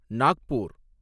Nagpur